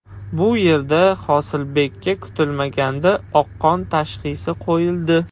Bu yerda Hosilbekka kutilmaganda oqqon tashxisi qo‘yildi.